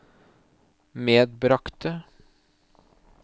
medbragte